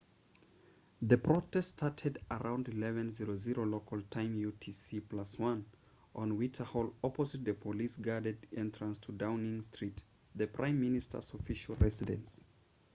the protest started around 11:00 local time utc+1 on whitehall opposite the police-guarded entrance to downing street the prime minister's official residence